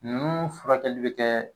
Ninnu furakɛli be kɛ